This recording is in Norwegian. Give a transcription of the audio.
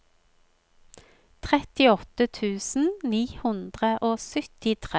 trettiåtte tusen ni hundre og syttitre